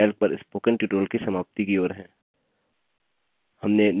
अब हम LibreOffice calc पर spoken tutorial की समाप्ति की ओर हैं